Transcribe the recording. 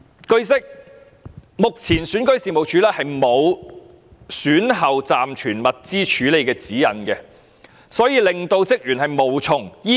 據悉，目前選舉事務處沒有選舉後暫存物資的處理指引，所以職員無從依據。